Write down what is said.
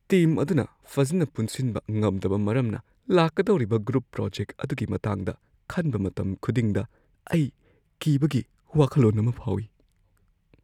Team ꯑꯗꯨꯅ ꯐꯖꯅ ꯄꯨꯟꯁꯤꯟꯕ ꯉꯝꯗꯕ ꯃꯔꯝꯅ ꯂꯥꯛꯀꯗꯧꯔꯤꯕ ꯒ꯭ꯔꯨꯞ ꯄ꯭ꯔꯣꯖꯦꯛ ꯑꯗꯨꯒꯤ ꯃꯇꯥꯡꯗ ꯈꯟꯕ ꯃꯇꯝ ꯈꯨꯗꯤꯡꯗ ꯑꯩ ꯀꯤꯕꯒꯤ ꯋꯥꯈꯜꯂꯣꯟ ꯑꯃ ꯐꯥꯎꯏ ꯫